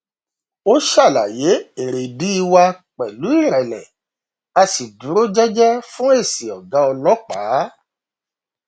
a ṣàlàyé èrèdí wa pẹlú ìrẹlẹ a sì dúró jẹjẹ fún èsì ọgá ọlọpàá